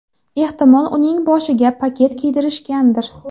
Ehtimol uning boshiga paket kiydirishgandir.